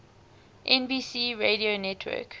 nbc radio network